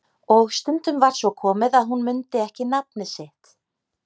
Og stundum var svo komið að hún mundi ekki nafnið sitt.